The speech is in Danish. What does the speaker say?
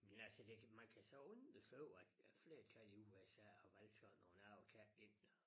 Men altså det man kan så undre sig over at flertallet i USA har valgt sådan nogen abekatte ind